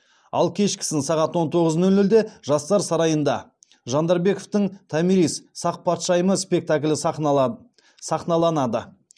ал кешкісін сағат он тоғыз нөл нөлде жастар сарайында жандарбековтің томирис сақ патшайымы спектаклі сахналанады